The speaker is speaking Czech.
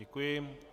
Děkuji.